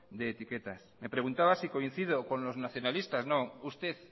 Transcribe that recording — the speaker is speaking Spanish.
de etiquetas me preguntaba si coincido con los nacionalistas no usted